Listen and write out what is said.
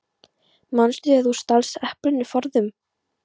Manstu þegar þú stalst eplinu forðum?